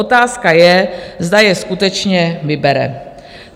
Otázka je, zda je skutečně vybere.